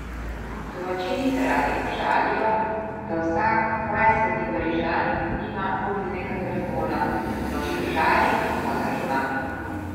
Domačini se radi pošalijo, da vsak dvajseti Parižan nima mobilnega telefona, v Šušari pa ga ima!